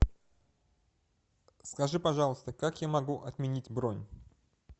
скажи пожалуйста как я могу отменить бронь